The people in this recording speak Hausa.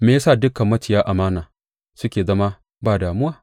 Me ya sa dukan maciya amana suke zama ba damuwa?